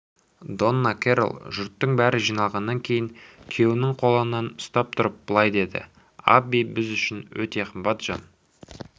донна керрол жұрттың бәрі жиналғаннан кейін күйеуінің қолынан ұстап тұрып былай деді абби біз үшін өте қымбат жан